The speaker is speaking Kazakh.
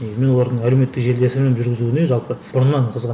і мен олардың әлеуметтік жүргізуне жалпы бұрыннан қызығамын